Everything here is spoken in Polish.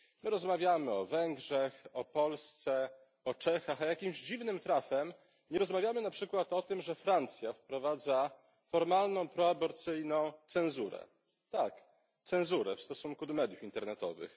Rozmawiamy o Węgrzech, o Polsce, o Czechach, a jakimś dziwnym trafem nie rozmawiamy na przykład o tym, że Francja wprowadza formalną proaborcyjną cenzurę, tak, cenzurę w stosunku do mediów internetowych.